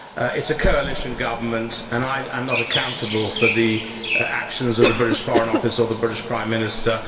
It is a coalition government and I am not accountable for the actions of the British Foreign Office or the British Prime Minister.